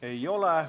Ei ole.